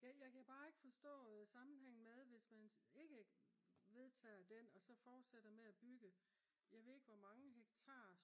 jeg kan bare ikke forstå sammenhængen med hvis man ikke vedtager den og så forsætter med at bygge jeg ved ikke hvor mange hektar